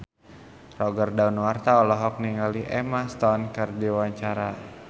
Roger Danuarta olohok ningali Emma Stone keur diwawancara